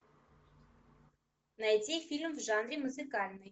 найди фильм в жанре музыкальный